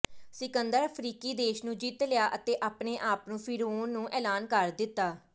ਸਿਕੰਦਰ ਅਫ਼ਰੀਕੀ ਦੇਸ਼ ਨੂੰ ਜਿੱਤ ਲਿਆ ਅਤੇ ਆਪਣੇ ਆਪ ਨੂੰ ਫ਼ਿਰਊਨ ਨੂੰ ਐਲਾਨ ਕਰ ਦਿੱਤਾ